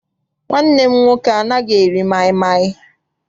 Nwanne m nwoke anaghị eri maịmaị.